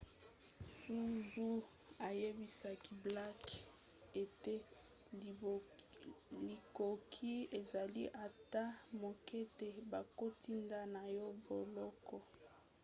zuzi ayebisaki blake ete likoki ezali ata moke te bakotinda ye na boloko